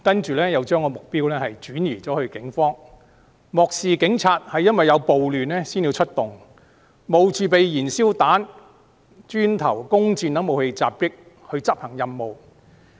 然後，他們將目標轉移至警方，漠視警察是由於有暴亂才出動，要冒着被燃燒彈、磚頭、弓箭等武器襲擊來執行任務。